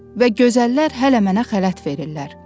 Və gözəllər hələ mənə xələt verirlər.